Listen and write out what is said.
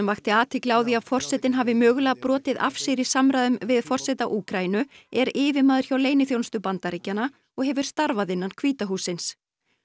vakti athygli á því að forsetinn hafi mögulega brotið af sér í samræðum við forseta Úkraínu er yfirmaður hjá leyniþjónustu Bandaríkjanna og hefur starfað innan hvíta hússins